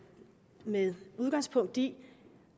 med udgangspunkt i